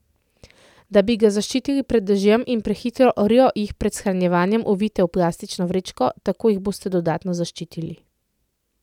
Da bi ga zaščitili pred dežjem in prehitro rjo, jih pred shranjevanjem ovijte v plastično vrečko, tako jih boste dodatno zaščitili.